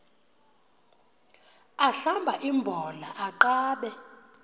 ahlamba imbola aqabe